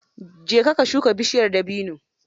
Je ka ka shuga bishiyar dabino